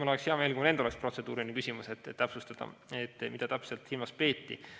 Mul oleks hea meel, kui mul endal oleks võimalus protseduuriline küsimus esitada, et täpsustada, mida täpselt silmas peeti.